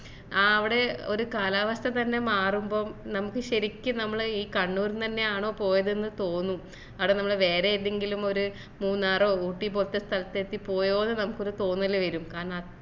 ആ ആവിടെ ഒരു കാലാവസ്ഥ തന്നെ മാറുമ്പോ നമ്മക്ക് ശെരിക്കും നമ്മൾ ഈ കണ്ണൂർ ന്നു എന്നെ ആണോ പോയത് ന്ന് തോന്നും അതോ നമ്മള് വേറെ ഏതെങ്കിലും ഒര് മൂന്നാറോ ഊട്ടി പോലത്തെ സ്ഥലത്തു എത്തി പോയപോലെ നമുക്കൊരു തോന്നല് വരും കാരണം